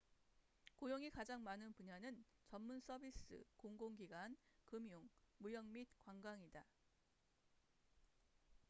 고용이 가장 많은 분야는 전문 서비스 공공기관 금융 무역 및 관광이다